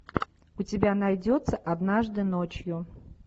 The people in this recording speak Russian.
у тебя найдется однажды ночью